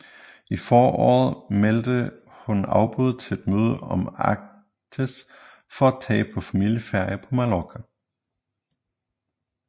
I foråret meldte hun afbud til et møde om Arktis for at tage på familieferie på Mallorca